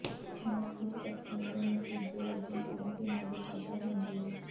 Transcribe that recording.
ਨਸ ਨੂੰ ਕੱਟਣ ਦੇ ਨਤੀਜੇ ਵਜੋਂ ਇਹ ਬਿਮਾਰੀ ਪੈਦਾ ਹੁੰਦੀ ਹੈ